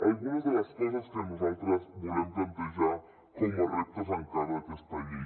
algunes de les coses que nosaltres volem plantejar com a reptes encara d’aquesta llei